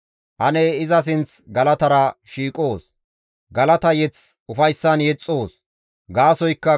Ane iza sinth galatara shiiqoos; galata mazamure ufayssan yexxoos.